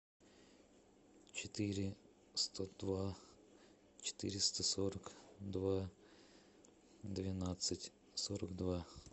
четыре сто два четыреста сорок два двенадцать сорок два